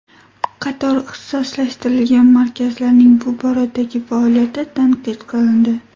Qator ixtisoslashtirilgan markazlarning bu boradagi faoliyati tanqid qilindi.